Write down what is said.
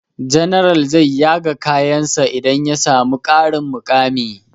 General zai yaga kayan sa idan ya samu ƙarin muƙami